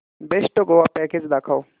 best Goa package दाखव